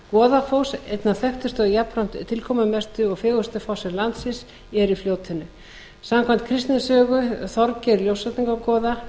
upp fljótið goðafoss einn af þekktustu og jafnvel tilkomumestu og fegurstu fossum landsins er í fljótinu samkvæmt kristnitöku þorgeirs ljósvetningagoða